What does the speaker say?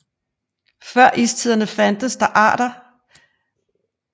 Før istiderne fandtes der arter af slægten både i Europa og Nordamerika